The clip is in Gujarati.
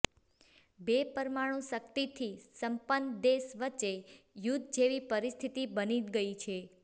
બે પરમાણુ શક્તિથી સંપન્ન દેશ વચ્ચે યુદ્ધ જેવી પરિસ્થિતિ બની ગઈ છે